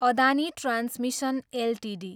Adani transmission Ltd